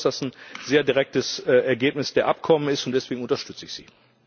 Ich glaube, dass das ein sehr direktes Ergebnis der Abkommen ist, und deswegen unterstütze ich sie.